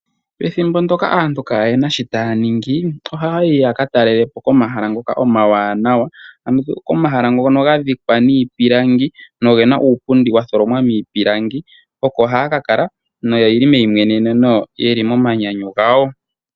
Pethimbo ndoka aantu ka yena shii taya ningi, ohayi yaka talelepo omahala ngoka omawanawa, ano komahala ngoka gadhikwa niipilangi nogena uupundi waningwa miipilangi oko haya kakala no yeli meyimweneneno yeli moomanyanyu gawo.